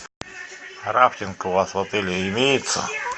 рафтинг у вас в отеле имеется